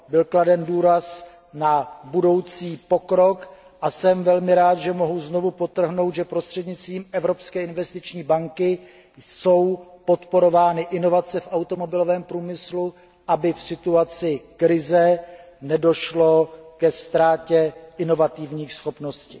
Byl kladen důraz na budoucí pokrok a jsem velmi rád, že mohu znovu podtrhnout, že prostřednictvím Evropské investiční banky jsou podporovány inovace v automobilovém průmyslu, aby v situaci krize nedošlo ke ztrátě inovativních schopností.